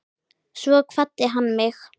Svo kvaddi hann mig.